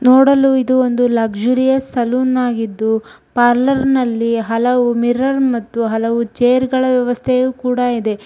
ನೋಡಲು ಇದು ಒಂದು ಲಕ್ಷುರಿ ಸಲೂನ್ ಆಗಿದ್ದು ಪಾರ್ಲರ್ ನಲ್ಲಿ ಹಲವು ಮಿರರ್ ಮತ್ತು ಹಲವು ಚೇರ್‌ಗಳ ವ್ಯವಸ್ಥೆ ಕೂಡ ಇದೆ. ಇಲ್ಲಿ ರಿಸೆಪ್ಶನಿಸ್ಟ್ ವರ್ಕ್ ಗಾಗಿ ಹಲವು.